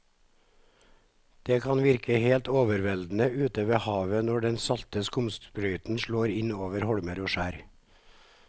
Det kan virke helt overveldende ute ved havet når den salte skumsprøyten slår innover holmer og skjær.